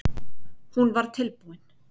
Hún var tilbúin.